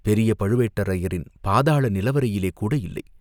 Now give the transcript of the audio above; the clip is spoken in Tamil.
பெரிய பழுவேட்டரையரின் பாதாள நிலவறையிலே கூட இல்லை.